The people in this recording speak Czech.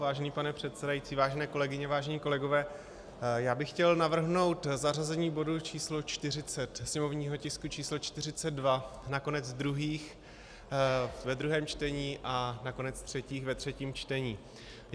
Vážený pane předsedající, vážené kolegyně, vážení kolegové, já bych chtěl navrhnout zařazení bodu číslo 40, sněmovního tisku číslo 42, na konec druhých ve druhém čtení a na konec třetích ve třetím čtení.